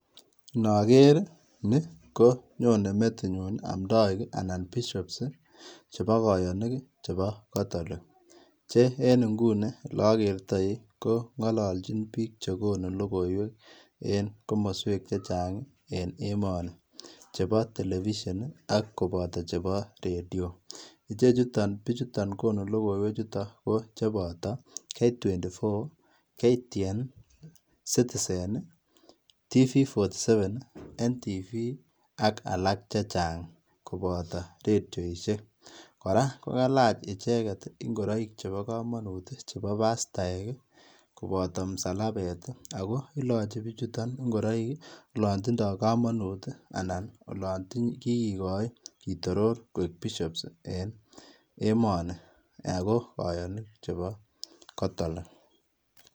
Nager ni konyonei metinyuun amdaik ii anan [] bishops [] che bo kayaniik ab katholik che en nguni ele agertai ko ngalachiin biik chegonuu logoiwek en komosweek chechaang ii en emanii chebo [] television [] ak kobataa chebo []radio[] ichechutaan bichutoon konuu logoiwek chutoon ko kobataa []k24[] []ktn[] [] citizen [][] tv47[] [] NTV [] ak alaak chechaang kobataa radioisheek ak kalaach ichegeet ingoraik chebo kamanut ii che bo pastaek ii kobataa msalabeet ii ako ilachii bichutoon ingoraik olaan tindaa kamanuut anan ko olaan kikitoror koek[] bishops [] en emanii ago kayaniik chebo kotolik.